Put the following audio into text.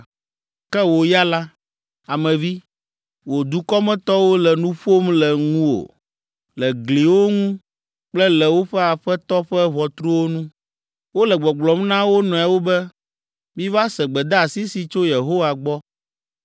“Ke wò ya la, Ame vi, wò dukɔmetɔwo le nu ƒom le ŋuwò le gliwo ŋu kple le woƒe aƒetɔ ƒe ʋɔtruwo nu. Wole gbɔgblɔm na wo nɔewo be, ‘Miva se gbedeasi si tso Yehowa gbɔ.’